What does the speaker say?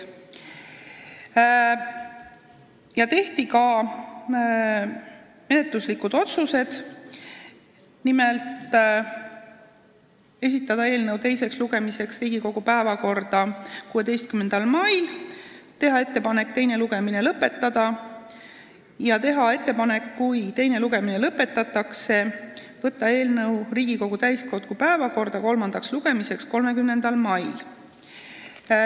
Tehti ka menetluslikud otsused: esitada eelnõu teiseks lugemiseks Riigikogu täiskogu päevakorda 16. maiks, teha ettepanek teine lugemine lõpetada ja kui teine lugemine lõpetatakse, võtta eelnõu kolmandaks lugemiseks Riigikogu täiskogu päevakorda 30. maiks.